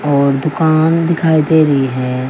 और दुकान दिखाई दे री है।